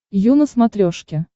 ю на смотрешке